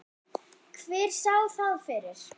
Hver sá það fyrir?